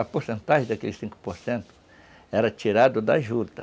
A porcentagem daqueles cinco por cento era tirada da juta.